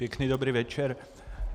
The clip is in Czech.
Pěkný dobrý večer.